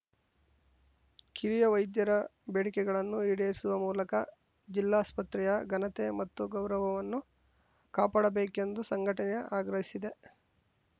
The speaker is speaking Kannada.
ಕಿರಿಯ ವೈದ್ಯರ ಬೇಡಿಕೆಗಳನ್ನು ಈಡೇರಿಸುವ ಮೂಲಕ ಜಿಲ್ಲಾಸ್ಪತ್ರೆಯ ಘನತೆ ಮತ್ತು ಗೌರವವನ್ನು ಕಾಪಾಡಬೇಕೆಂದು ಸಂಘಟನೆಯು ಅಗ್ರಹಿಸಿದೆ